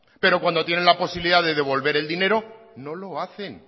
pero cuando tiene la posibilidad de devolver el dinero no lo hacen